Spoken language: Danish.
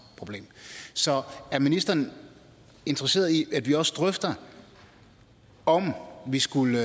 problem så er ministeren interesseret i at vi også drøfter om vi skulle